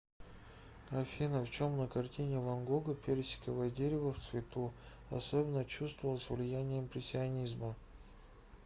афина в чем на картине ван гога персиковое дерево в цвету особенно чувствовалось влияние импрессионизма